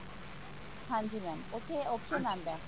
ਹਾਂਜੀ mam ਉੱਥੇ option ਆਂਦਾ